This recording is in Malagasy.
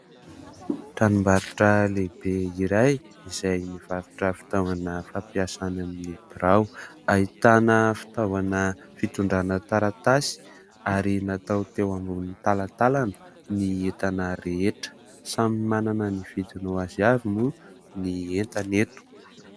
Tranom-barotra lehibe iray izay mivarotra fitaovana fampiasa any amin'ny birao. Ahitana fitaovana fitondrana taratasy ary natao teo amboniny talantalana ny entana rehetra. Samy manana ny vidiny ho azy avy moa ny entana eto.